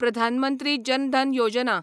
Pradhan Mantri Jan Dhan Yojana